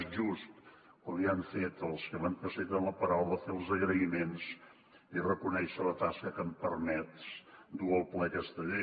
és just com ja han fet els que m’han precedit en la paraula fer els agraïments i reconèixer la tasca que ha permès dur al ple aquesta llei